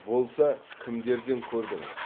болса кімдерден көрдіңіз